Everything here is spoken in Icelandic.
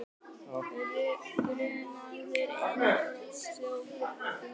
Grunaður innbrotsþjófur í vanda